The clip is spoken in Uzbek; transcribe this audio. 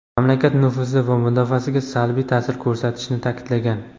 mamlakat nufuzi va mudofaasiga salbiy taʼsir ko‘rsatishini taʼkidlagan.